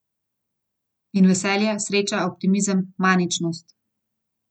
In veselje, sreča, optimizem, maničnost.